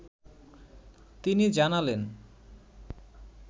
তিনি জানালেন